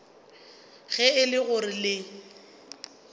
ge e le gore le